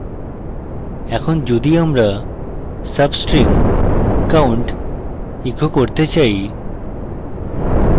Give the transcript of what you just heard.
এখন যদি আমরা substring count echo করতে চাই